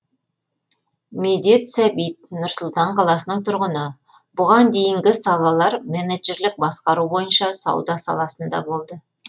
медет сәбит нұр сұлтан қаласының тұрғыны бұған дейінгі салалар менеджерлік басқару бойынша сауда саласында болды